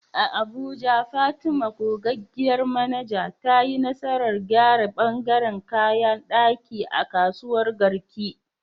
A Abuja, Fatima, gogaggiyar manaja, ta yi nasarar gyara ɓangaren kayan ɗaki a kasuwar Garki.